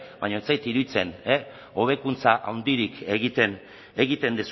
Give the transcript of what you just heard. baina ez zait iruditzen hobekuntza handirik egiten